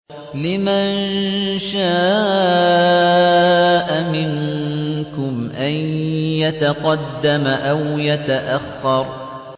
لِمَن شَاءَ مِنكُمْ أَن يَتَقَدَّمَ أَوْ يَتَأَخَّرَ